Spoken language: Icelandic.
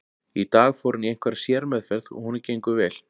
Í dag fór hann í einhverja sérmeðferð og honum gengur vel.